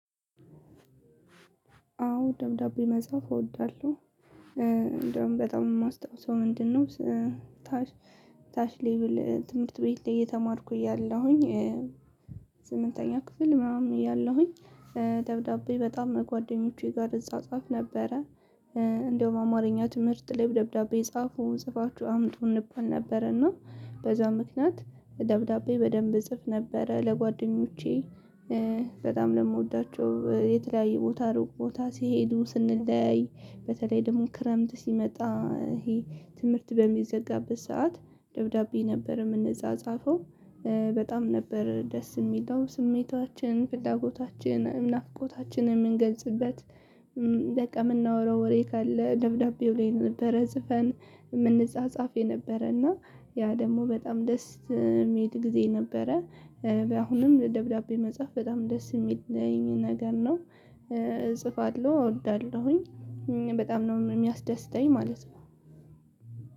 አዎ ደብዳቤ መጽሐፍ እወዳለሁ። እንደውም በጣም የማስታውሰው ምንድነው? ታች ታች ሌቭል ትምህርት ቤት ላይ እየተማርኩኝ ያለሁኝ እ ስምንተኛ ክፍል ምናምን እያለሁኝ እ ደብዳቤ በጣም ጓደኞቼ ጋር እፃጻፍ ነበረ። እ እንደውም አማርኛ ትምህርት ላይ ደብዳቤ ጻፉ ጽፋችሁ አምጡ እንባል ነበር። እና በዛ ምክንያት ደብዳቤ በደንብ እጽፍ ነበረ። ለጓደኞቼ እ በጣም ለምወዳቸው የተለያየ ቦታ ሩቅ ቦታ ሲሄዱ ስንለያይ በተለይ ደግሞ ክረምት ሲመጣ ይሄ ትምህርት በሚዘጋበት ሰዓት ደብዳቤ ነበር። የምንፃፃፈው እ በጣም ነበር ደስ የሚለው ስሜታችን ፍላጎታችን ነፍቆታችንን የምንገልጽበት። እ በቃ የምናወራው ወሬ ካለ ደብዳቤው ላይ ነበረ። ፅፈን የምንጻጻፍ የነበረ እና ያ ደግሞ በጣም ደስ የሚል ጊዜ ነበረ። በአሁንም ደብዳቤ መጽሐፍ በጣም ደስ የሚለኝ ነገር ነው። እጽፋለሁ እወዳለሁኝ። በጣም ነው የሚያስደስተኝ ማለት ነው።